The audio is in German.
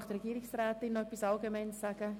Möchte die Regierungsrätin etwas dazu sagen?